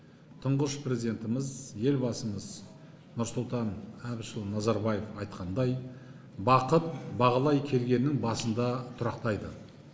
тұғыш президентіміз елбасымыз нұрсұлтан әбішұлы назарбаев айтқандай бақыт бағалай келгеннің басында тұрақтайды